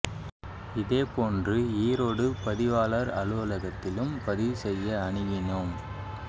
இதேபோன்று ஈரோடு பதிவாளர் அலுவல கத்திலும் பதிவு செய்ய அணுகினோம்